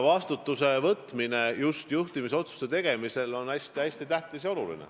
Vastutuse võtmine on juhtimisotsuste tegemisel hästi tähtis.